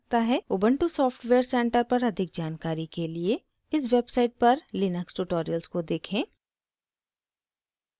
ubuntu software center पर अधिक जानकारी के लिए इस website पर लिनक्स tutorials को देखें